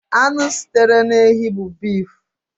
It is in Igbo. Anụ sitere n'ehi bụ bif.